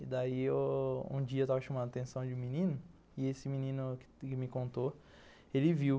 E daí, um dia eu estava chamando a atenção de um menino e esse menino que me contou, ele viu.